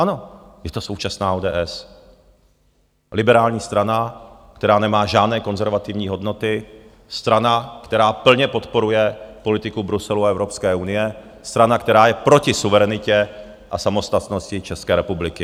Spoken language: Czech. Ano, to je současná ODS, liberální strana, která nemá žádné konzervativní hodnoty, strana, která plně podporuje politiku Bruselu a Evropské unie, strana, která je proti suverenitě a samostatnosti České republiky.